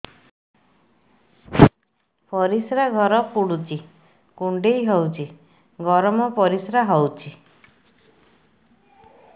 ପରିସ୍ରା ଘର ପୁଡୁଚି କୁଣ୍ଡେଇ ହଉଚି ଗରମ ପରିସ୍ରା ହଉଚି